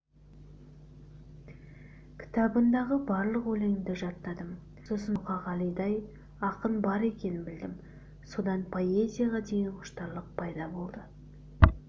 кітабындағы барлық өлеңді жаттадым сосын мұқағалидай ақын бар екенін білдім содан поэзияға деген құштарлық пайда болды